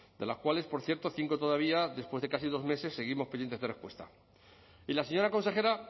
de las cuales por cierto cinco todavía después de casi dos meses seguimos pendientes de respuesta y la señora consejera